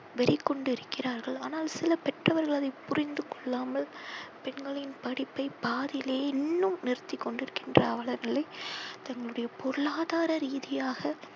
வெறி கொண்டிருக்கிறார்கள். ஆனால் சில பெற்றவர்கள் அதை புரிந்து கொள்ளாமல் பெண்களின் படிப்பை பாதியிலேயே இன்னும் நிறுத்தி கொண்டிருக்கின்ற அவல நிலை தங்களுடைய பொருளாதார ரீதியாக